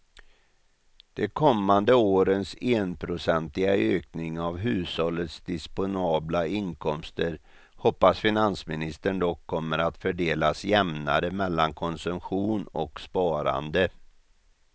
De kommande årens enprocentiga ökning av hushållens disponbla inkomster hoppas finansministern dock kommer att fördelas jämnare mellan konsumtion och sparande.